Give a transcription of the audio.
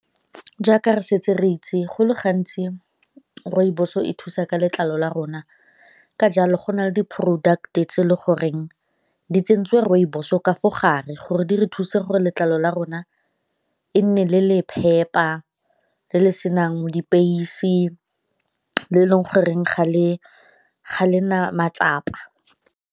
Jaaka re setse re itse go le gantsi rooibos-o e thusa ka letlalo la rona ka jalo go na le di-product-e tse e le goreng di tsentswe rooibos o ka mo gare gore di re thusa gore letlalo la rona e nne le le phepa, le le senang mo le e leng goreng ga le na matsapa.